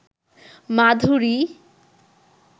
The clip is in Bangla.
মাধুরী